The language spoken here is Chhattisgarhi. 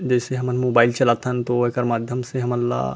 जइसे हमन मोबाइल चला थन तो एकर माध्यम से हमन ला--